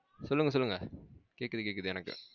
சொல்லுங்க சொல்லுங்க